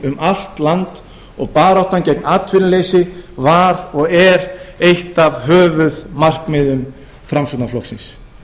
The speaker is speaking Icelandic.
um allt land og baráttan gegn atvinnuleysi var og er eitt af höfuðmarkmiðum framsóknarflokksins